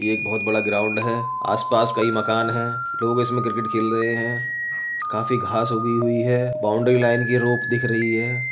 यह एक बोहोत बड़ा ग्राउंड है। आसपास कई मकान हैं। लोग इसमें क्रिकेट खेल रहे हैं काफी घास उगी हुई है बाउंड्री लाइन की रोप दिख रही है।